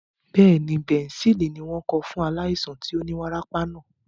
Bẹ́ẹ̀ni, bẹ̀ǹsẹ́ẹ̀lì ni wọ́n kọ fún aláìsàn tí ó ní wárápá náà.